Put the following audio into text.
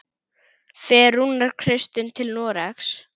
Fer Rúnar Kristins til Noregs?